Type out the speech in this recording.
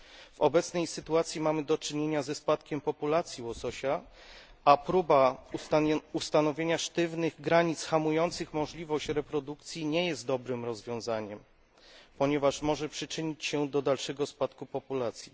W obecnej sytuacji mamy do czynienia ze spadkiem populacji łososia, a próba ustanowienia sztywnych granic hamujących możliwość reprodukcji nie jest dobrym rozwiązaniem, ponieważ może przyczynić się do dalszego spadku populacji.